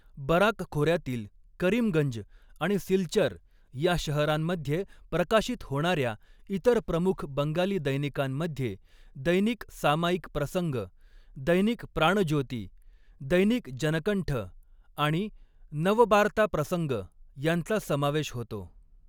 Barack खोऱ्यातील करीमगंज आणि सिलचर या शहरांमध्ये प्रकाशित होणाऱ्या इतर प्रमुख बंगाली दैनिकांमध्ये दैनिक सामायिक प्रसंग, दैनिक प्राणज्योती, दैनिक जनकंठ आणि नवबार्ता प्रसंग यांचा समावेश होतो.